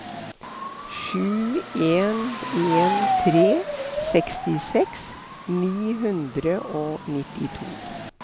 sju en en tre sekstiseks ni hundre og nittito